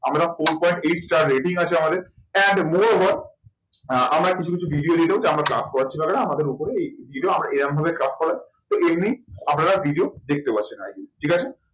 আমরা four point eight star rating আছে আমাদের and moreover আমরা কিছু কিছু আহ আমরা কিছু কিছু আমরা class করাচ্ছি আমাদের উপরেও আমরা এরম ভাবে class করাই। তো এমনি আপনারা video দেখতে ঠিক আছে।